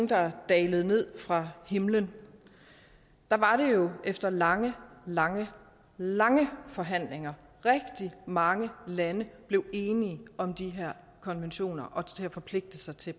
der dalede ned fra himlen der var det jo efter lange lange lange forhandlinger at rigtig mange lande blev enige om de her konventioner og til at forpligte sig til